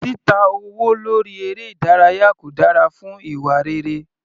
Títa owó lórí eré ìdárayá kò dára fún ìwà rere.